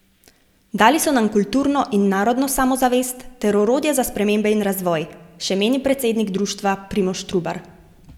Dali so nam kulturno in narodno samozavest ter orodje za spremembe in razvoj, še meni predsednik društva Primož Trubar.